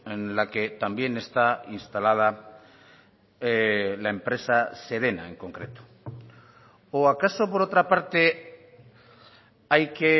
en la que también está instalada la empresa sedena en concreto o acaso por otra parte hay que